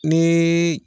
Ni